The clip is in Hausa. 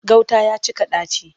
Gauta ya cika ɗaci.